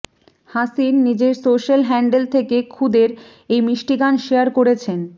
হাসিন নিজের social handle থেকে খুদের এই মিষ্টি গান শেয়ার করেছেন